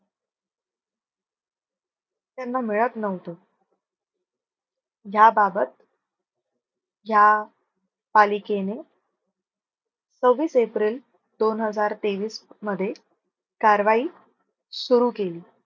त्यानं मिळत नव्हतं. ह्या बाबत ह्या पालिकेने सव्वीस एप्रिल दोन हजार तेवीस मध्ये कारवाई सुरु केली.